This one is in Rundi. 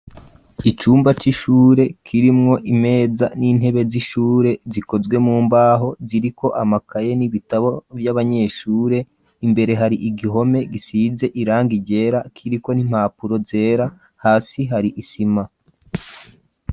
Icumba c'ishure kirimwo imeza n'intebe z'ishure zikozwe mu mbaho kiriko amakaye n'ibitabo vy'abanyeshure imbere hari igihome gisize irangi ryera kiriko n'impapuro zera hasi hari isima.